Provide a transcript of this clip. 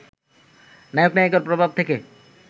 নায়ক-নায়িকার প্রভাব থেকে